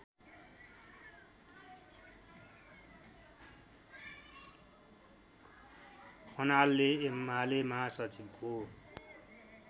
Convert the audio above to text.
खनालले एमाले महासचिवको